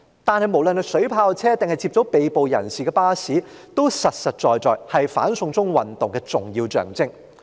但不論是水炮車還是接載被捕人士的巴士，實在也是"反送中"運動的重要象徵。